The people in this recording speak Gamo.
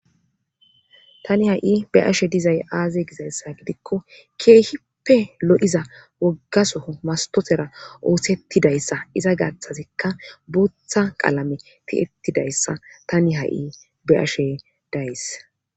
Tani ha7i be7ashe dizayssay gidikko keehippe lo7iza wogga soho masttotera oosettidayssa iza gaathazikka bootha qalameni tiyettidayssatani ha7i Be7ashe days.